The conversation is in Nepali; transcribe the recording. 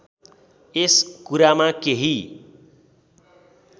यस कुरामा केही